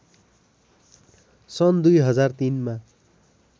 सन् २००३ मा